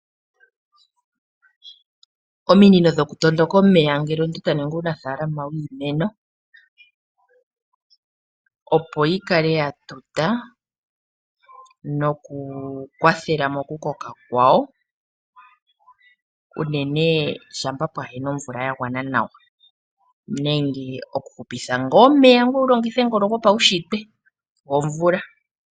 Ominino dhokutondoka omeya ngele omuntu taningi uunafaalama wiimeno , opo yikale yatuta nokukwathela mokukoka kwawo unene ngele kapuna omvula yagwana nawa nenge okuhupitha omeya ngoye wulongithe ngono gopaunshitwe gomvula.